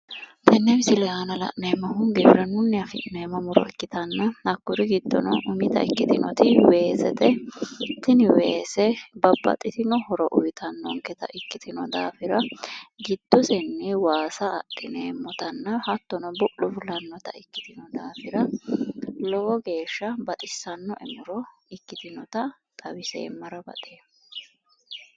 Tenne misile aana la'neemmohu giwirinnunni afi'neemmo muro ikkitanna, hakkuri giddono umita ikkitinoti weesete. Tini weese babbaxxitino horo uyitannonketa ikkitino daafira giddosenni waasa adhineemmotanna hattono bu'lu fulannota ikkitino daafira lowo geeshsha baxissannoe muro ikkitinota xawiseemmara baxeemma.